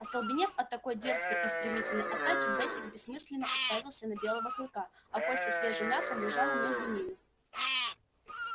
остолбенев от такой дерзкой и стремительной атаки бэсик бессмысленно уставился на белого клыка а кость со свежим мясом лежала между ними